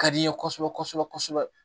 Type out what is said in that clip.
Ka di n ye kosɛbɛ kosɛbɛ kosɛbɛ